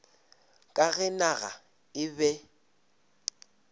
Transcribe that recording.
ka ge naga e be